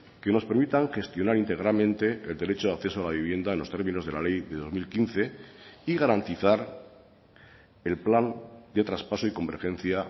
que nos permitan gestionar íntegramente el derecho a acceso a la vivienda en los términos de la ley de dos mil quince y garantizar el plan de traspaso y convergencia